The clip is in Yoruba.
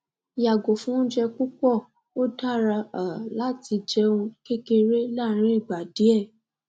yago fun ounje pupo o dara um lati jeun kekere larin igba die